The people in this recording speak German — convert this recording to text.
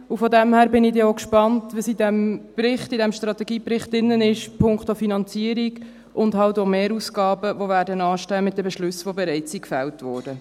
Von daher bin ich dann auch gespannt, was in diesem Strategiebericht punkto Finanzierung und halt auch Mehrausgaben drin ist, die mit den bereits gefällten Beschlüssen anstehen werden.